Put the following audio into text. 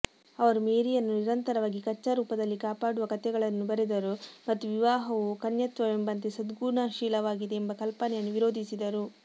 ಅವರು ಮೇರಿಯನ್ನು ನಿರಂತರವಾಗಿ ಕಚ್ಚಾ ರೂಪದಲ್ಲಿ ಕಾಪಾಡುವ ಕಥೆಗಳನ್ನು ಬರೆದರು ಮತ್ತು ವಿವಾಹವು ಕನ್ಯತ್ವವೆಂಬಂತೆ ಸದ್ಗುಣಶೀಲವಾಗಿದೆ ಎಂಬ ಕಲ್ಪನೆಯನ್ನು ವಿರೋಧಿಸಿದರು